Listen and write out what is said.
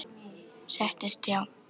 Settist hjá